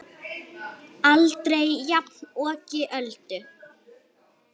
Aldrei jafnoki Öldu.